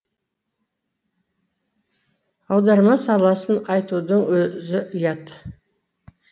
аударма саласын айтудың өзі ұят